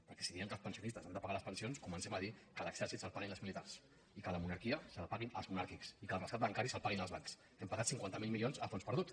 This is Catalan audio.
perquè si diem que els pensionistes han de pagar les pensions comencem a dir que l’exèrcit se’l paguin els militars i que la monarquia se la paguin els monàrquics i que el rescat bancari se’l paguin els bancs que hem pagat cinquanta miler milions a fons perdut